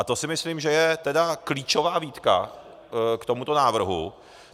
A to si myslím, že je tedy klíčová výtka k tomuto návrhu.